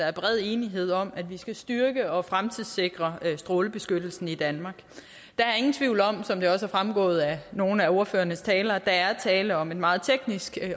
er bred enighed om at vi skal styrke og fremtidssikre strålebeskyttelsen i danmark der er ingen tvivl om som det også er fremgået af nogle af ordførernes taler at der er tale om et meget teknisk